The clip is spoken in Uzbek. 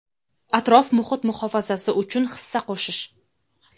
atrof-muhit muhofazasi uchun hissa qo‘shish.